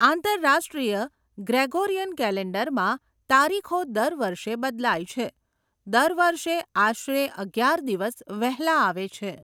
આંતરરાષ્ટ્રીય ગ્રેગોરિયન કૅલેન્ડરમાં, તારીખો દર વર્ષે બદલાય છે, દર વર્ષે આશરે અગિયાર દિવસ વહેલા આવે છે.